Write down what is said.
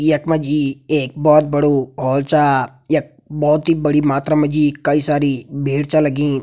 यक मजी एक बोहोत बड़ु हॉल छा। यक बोहोत ही बड़ी मात्रा मजी कई सारी भीड़ छ लगीं।